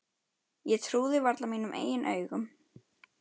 Ég trúði varla mínum eigin augum.